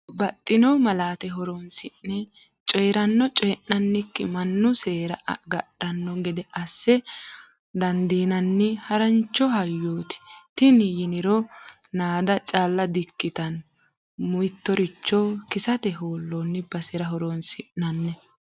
Babbaxxino malaate horonsi'ne coyirano co'nikkinni mannu seera agadhano gede assa dandiinanni harancho hayyoti tini yiniro naada calla di"ikkittano, mittoricho kisate hoolonni basera horonsi'nanni.